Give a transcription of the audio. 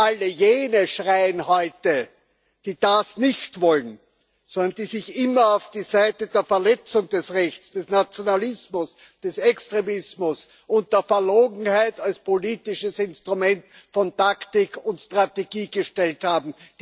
Alle jene schreien heute, die das nicht wollen, sondern die sich immer auf die Seite der Verletzung des Rechts, des Nationalismus, des Extremismus und der Verlogenheit als politisches Instrument von Taktik und Strategie gestellt haben.